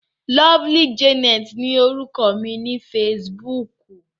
Lovely Janet ni orúkọ mi ní Facebook.